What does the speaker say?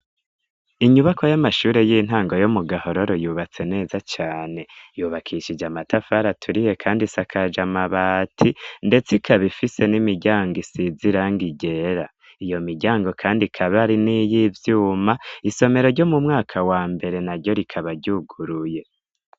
Inyubako y'amashure y'intango yo mu gahororo yubatse neza cane yubakishije amatafariaturiye, kandi sakaje amabati, ndetse ikabifise n'imiryango isizirango igera iyo miryango, kandi kabari n' iyo ivyuma isomero ryo mu mwaka wa mbere na ryo rikabaryuguruye.